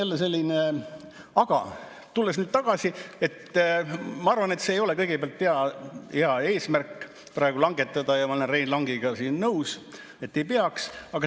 Tulles eelnõu juurde tagasi, ma arvan, et ei ole hea eesmärk praegu langetada, ja ma olen Rein Langiga nõus, et ei peaks.